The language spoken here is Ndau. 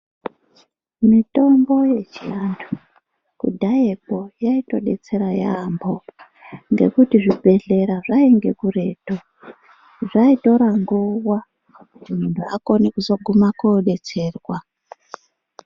Mitombo yechiantu kudhayakwo yaitodetsera yaampo ngekuti zvibhedhlera zvainge kuretu zvaitora nguwa kuti muntu akone kuzohuma kodetserwa.